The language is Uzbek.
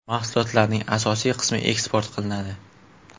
Mahsulotlarning asosiy qismi eksport qilinadi.